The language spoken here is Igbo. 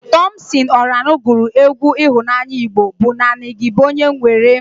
Tọmpsịn Ọranụ gụrụ egwu ịhụnanya Igbo bụ "Naanị gị bụ onye m nwere"